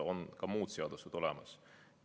On ka muud seadused olemas.